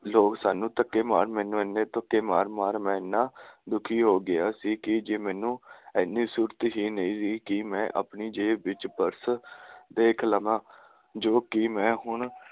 ਲੋਕ ਸਾਂਨੂੰ ਧੱਕੇ ਮਾਰ ਮੈਂਨੂੰ ਇੰਨੇ ਧੱਕੇ ਮਾਰ ਮਾਰ ਮੈ ਇੰਨਾ ਦੁਖੀ ਹੋਗਿਆ ਸੀ ਕਿ ਜੇ ਮੈਨੂੰ ਇੰਨੀ ਸੂਰਤ ਹੀ ਨਹੀਂ ਸੀ ਕਿ ਮੈਂ ਆਪਣੀ ਜੇਬ ਵਿੱਚ ਪਰਸ ਦੇਖ ਲਵਾਂ ਜੋ ਕਿ ਮੈਂ ਹੁਣ